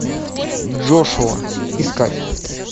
джошуа искать